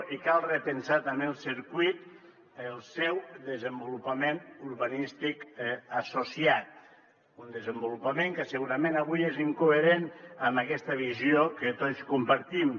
i cal repensar també el circuit el seu desenvolupament urbanístic associat un desenvolupament que segurament avui és incoherent amb aquesta visió que tots compartim